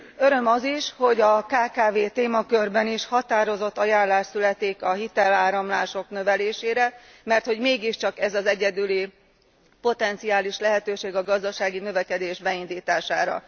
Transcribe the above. Öröm az is, hogy a kkv témakörben is határozott ajánlás születik a hiteláramlások növelésére, mert mégiscsak ez az egyedüli potenciális növekedési lehetőség a gazdasági növekedés beindítására.